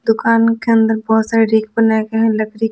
दुकान के अंदर बहुत सारे रिक बनाए गए हैं लकड़ी के --